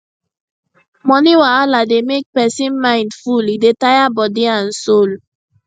money wahala dey make person mind full e dey tire body and soul